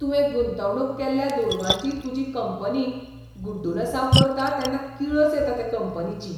तुवें गुंतवणूक केल्ल्या दुडवांची तुजी कंपनी गुड्डुलसांव करता तेन्ना किळस येता ते कंपनीची.